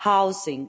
housing